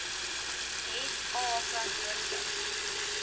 het a verantwoordelik